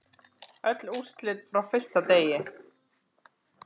Öll úrslit frá fyrsta degi